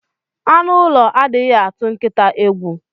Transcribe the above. Anu ulo adighi atu nkita egwu.